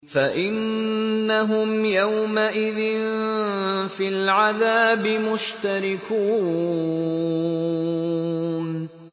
فَإِنَّهُمْ يَوْمَئِذٍ فِي الْعَذَابِ مُشْتَرِكُونَ